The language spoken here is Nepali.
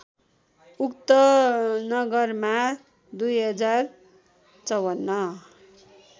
उक्त नगरमा २०५४